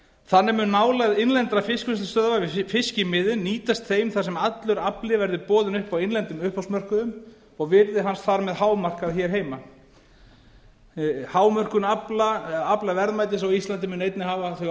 þannig mun nálægð innlendra fiskvinnslustöðva við fiskimiðin nýtast þeim þar sem allur afli verði boðinn upp á innlendum uppboðsmörkuðum og virði hans þar með hámarkað hér heima hámörkun aflaverðmætis á íslandi mun einnig hafa þau